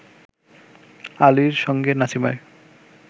আলীর সঙ্গে নাসিমার